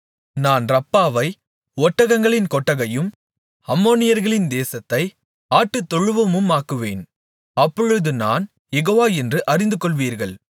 நான் ரப்பாவை ஒட்டகங்களின் கொட்டகையும் அம்மோனியர்களின் தேசத்தை ஆட்டுதொழுவமுமாக்குவேன் அப்பொழுது நான் யெகோவா என்று அறிந்து கொள்வீர்கள்